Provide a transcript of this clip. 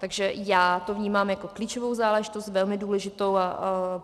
Takže já to vnímám jako klíčovou záležitost, velmi důležitou.